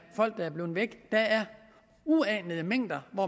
folk der er blevet væk der er uanede mængder af